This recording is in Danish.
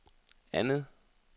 andet